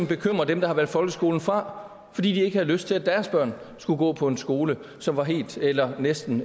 bekymrer dem der har valgt folkeskolen fra fordi de ikke havde lyst til at deres børn skulle gå på en skole som var helt eller næsten